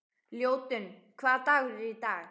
Ljótunn, hvaða dagur er í dag?